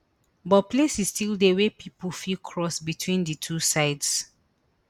but places still dey wey pipo fit cross between di two sides